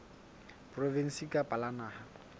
la provinse kapa la naha